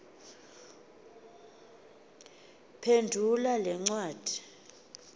phendula le ncwadi